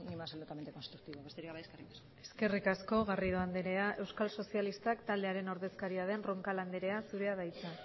con una absolutamente constructiva besterik gabe eskerrik asko eskerrik asko garrido andrea euskal sozialistak taldearen ordezkaria den roncal andrea zurea da hitza